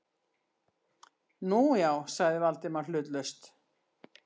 Nú, já- sagði Valdimar hlutlaust.